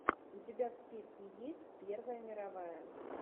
у тебя в списке есть первая мировая